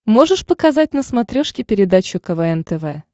можешь показать на смотрешке передачу квн тв